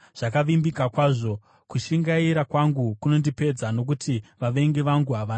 Kushingaira kwangu kunondipedza, nokuti vavengi vangu havana hanya namashoko enyu.